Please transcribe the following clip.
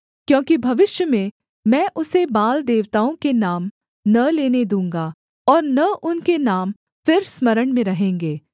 क्योंकि भविष्य में मैं उसे बाल देवताओं के नाम न लेने दूँगा और न उनके नाम फिर स्मरण में रहेंगे